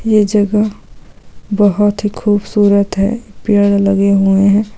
यह जगह बहुत ही खूबसूरत हैं पेड़ लगे हुए हैं।